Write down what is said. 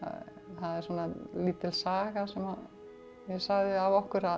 það er svona lítil saga sem ég sagði af okkur að